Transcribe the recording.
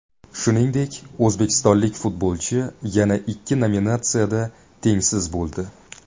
Shuningdek, o‘zbekistonlik futbolchi yana ikki nominatsiyada tengsiz bo‘ldi.